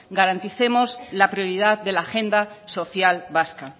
garanticemos la prioridad de la agenda social vasca